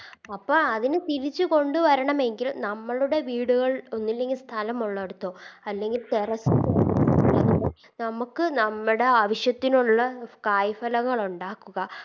അപ്പൊ അതിനെ തിരിച്ച് കൊണ്ട് വരണമെങ്കിൽ നമ്മളുടെ വീടുകൾ ഒന്നുല്ലെങ്കി സ്ഥലമുള്ളിടത്തോ അല്ലെങ്കിൽ Terrace ലോ നമുക്ക് നമ്മുടെ ആവശ്യത്തിനുള്ള കായ് ഫലങ്ങളൊണ്ടാക്കുക